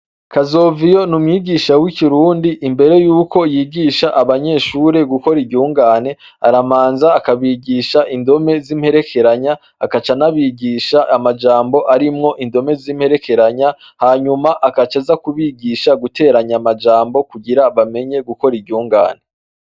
Kazoviyo n'umwigisha w'ikirundi imbere yuko yigisha abanyeshure gukora iryungane aramanza akabigisha indome z'imperekeranya agaca anabigisha amajambo arimwo indome z'imperekeranya hanyuma agacaza kubigisha guteranya amajambo kugira bamenye gukora iryungane.